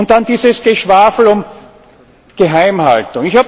Dann dieses Geschwafel um Geheimhaltung!